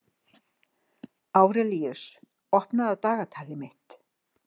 Árelíus, opnaðu dagatalið mitt.